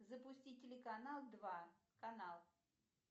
запусти телеканал два канал